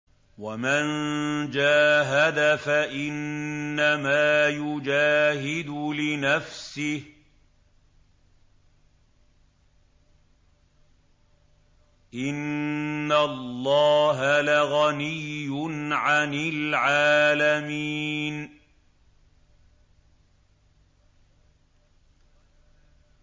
وَمَن جَاهَدَ فَإِنَّمَا يُجَاهِدُ لِنَفْسِهِ ۚ إِنَّ اللَّهَ لَغَنِيٌّ عَنِ الْعَالَمِينَ